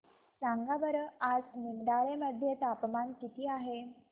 सांगा बरं आज निमडाळे मध्ये तापमान किती आहे